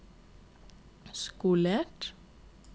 skolert